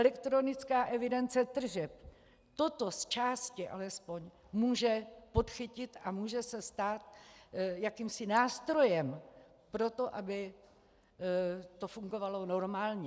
Elektronická evidence tržeb toto zčásti alespoň může podchytit a může se stát jakýmsi nástrojem pro to, aby to fungovalo normálně.